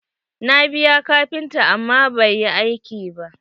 Na biya kafinta amma ba yi aiki ba.